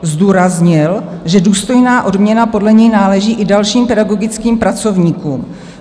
Zdůraznil, že důstojná odměna podle něj náleží i dalším pedagogickým pracovníkům.